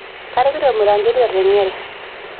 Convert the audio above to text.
Karipita olmiranketi otengere.